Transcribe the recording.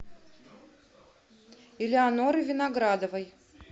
элеонорой виноградовой